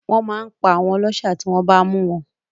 Wọ́n màá n pa àwọn ọlọ́ṣà tí wọ́n bá mú wọn